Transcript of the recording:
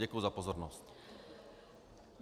Děkuji za pozornost.